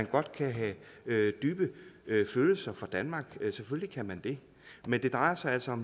godt kan have dybe følelser for danmark selvfølgelig kan man det men det drejer sig altså